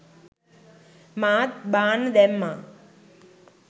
මාත් බාන්න දැම්මා